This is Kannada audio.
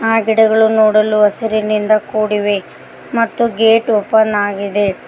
ಆ ಗಿಡಗಳು ನೋಡಲು ಹಸಿರಿನಿಂದ ಕೂಡಿವೆ ಮತ್ತು ಗೇಟ್ ಓಪನ್ ಆಗಿದೆ.